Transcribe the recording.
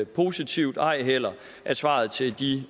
positivt og ej heller at svaret til de